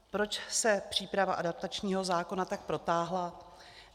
Proč se příprava adaptačního zákona tak protáhla?